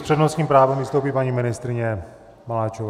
S přednostním právem vystoupí paní ministryně Maláčová.